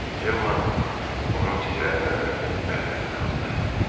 Cemma onun titrəyən əllərini əllərinə aldı.